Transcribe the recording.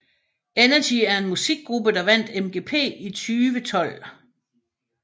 Energy er en musikgruppe der vandt MGP i 2012